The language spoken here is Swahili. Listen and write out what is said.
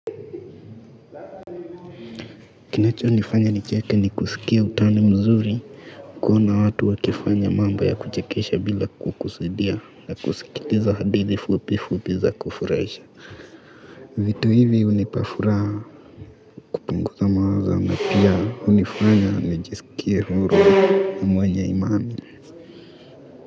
Kinachonifanya nicheke ni kusikia utani mzuri kuona watu wakifanya mambo ya kuchekesha bila kukusudia na kusikiliza hadithi fupi fupi za kufurahisha vitu hivi unipa furaha kupunguza mawazo na pia unifanya nijisikie huru na mwenye imani.